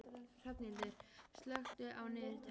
Hrafnhildur, slökktu á niðurteljaranum.